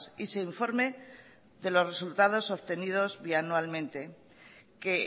y se informe de los resultados obtenidos bianualmente que